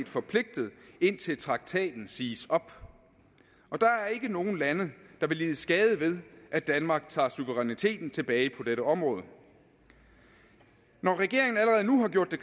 forpligtet indtil traktaten siges op der er ikke nogen lande der vil lide skade ved at danmark tager suveræniteten tilbage på dette område når regeringen allerede nu har gjort